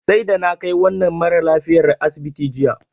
Sai da na kai wannan maralafiyar asibiti jiya.